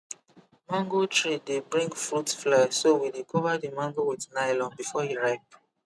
mango tree dey bring fruit fly so we dey cover the mango with nylon before e ripe